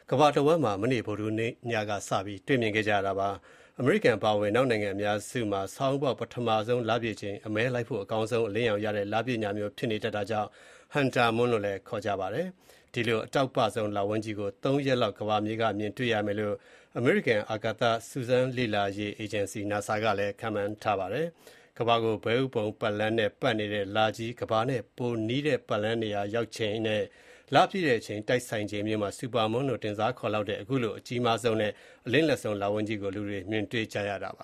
ကမ္ဘာတဝန်းမှာ မနေ့ ဗုဒ္ဓဟူးနေ့ညက စပြီး မြင်တွေ့ခဲ့ကြရပါတယ်။ အမေရိကန်အပါအဝင် အနောက်နိုင်ငံအများစုမှာ ဆောင်းဦးပေါက် ပထမဆုံးလပြည့်ချိန် အမဲလိုက်ဖို့ အကောင်းဆုံး အလင်းရောင်ရတဲ့ လပြည့် ညမျိုး ဖြစ်နေတတ်တာကြောင့် hunter moon လို့လည်း ခေါ်လေ့ရှိပါတယ်။ ဒီလို အတောက်ပဆုံး လဝန်းကြီးကို ၃ ရက်လောက် ကမ္ဘာမြေက မြင်တွေ့ရမယ်လို့ အမေရိကန် အာကာသ စူးစမ်းလေ့လာရေး အေဂျင်စီ NASA က ခန့်မှန်းထားပါတယ်။ ကမ္ဘာကို ဘဲဥပုံပတ်လမ်းနဲ့ ပတ်နေတဲ့ လကြီး ကမ္ဘာနဲ့ ပိုနီးတဲ့ ပတ်လမ်းနေရာ ရောက်ချိန်နဲ့ လပြည့်တဲ့ အချိန် တိုက်ဆိုင်ချိန်မျိုးမှာ Supermoon လို့ တင်စားခေါ်ရလောက်တဲ့ အကြီးဆုံးနဲ့ အလင်းလက်ဆုံး လဝန်းကြီးကို လူတွေ မြင်ကြရတာပါ